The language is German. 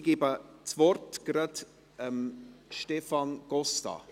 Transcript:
Ich gebe das Wort gleich Stefan Costa.